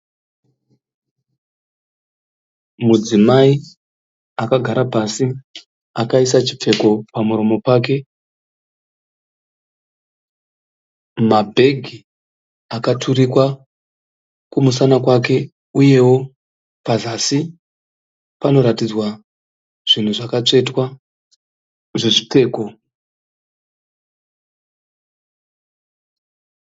Mudzimai akagara pasi akaisa chipfeko pamuromo pake. Mabhegi akaturikwa kumusana kwake uyewo pazasi panoratidzwa zvinhu zvakatsvetwa zvezvipfeko.